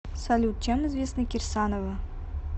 салют чем известна кирсанова